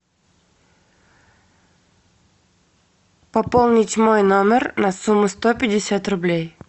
пополнить мой номер на сумму сто пятьдесят рублей